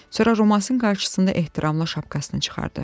Sonra Romasın qarşısında ehtiramla şapkasını çıxardı.